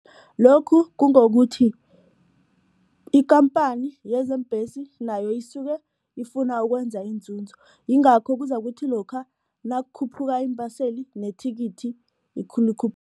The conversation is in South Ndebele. Lokhu kungokuthi ikhamphani yezeembhesi nayo isuke ifuna ukwenza inzunzo yingakho kuzakuthi lokha nakukhuphuka iimbaseli nethikithi